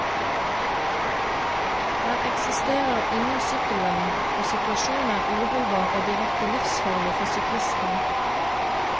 Der eksisterer ingen sykkelvei, og situasjonen er uholdbar og direkte livsfarlig for syklistene.